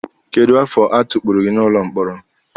Kedu afọ atukpuru gị n'ụlọ mkpọrọ?